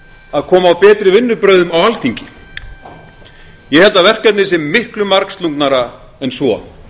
að koma á betri vinnubrögðum á alþingi ég held að verkefnið sé miklu margslungnara en svo